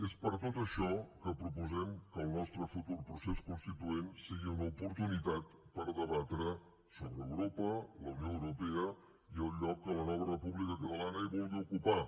és per tot això que proposem que el nostre futur procés constituent sigui una oportunitat per debatre sobre europa la unió europea i el lloc que la nova república catalana hi vulgui ocupar